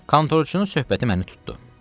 Kontorçunun söhbəti məni tutdu.